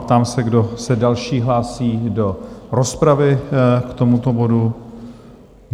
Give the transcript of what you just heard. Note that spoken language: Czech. Ptám se, kdo se další hlásí do rozpravy k tomuto bodu?